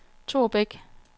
Thor Bech